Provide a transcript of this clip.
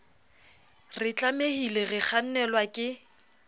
re tlamehile re kgannelwa ke